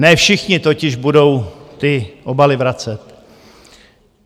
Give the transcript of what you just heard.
Ne všichni totiž budou ty obaly vracet.